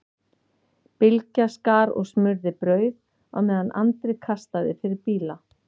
Bylgja skar og smurði brauð á meðan Andri kastaði fyrir bíla.